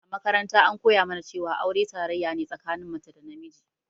A makaranta an koya mana cewa aure tarayya ne tsakanin mace da namiji